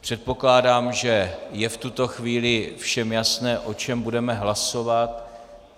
Předpokládám, že je v tuto chvíli všem jasné, o čem budeme hlasovat.